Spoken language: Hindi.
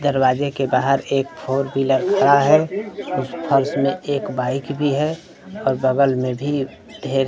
दरवाजे के बाहर एक फोर व्हीलर खड़ा है उस फर्श में एक बाइक भी है और बगल में भी ढेर--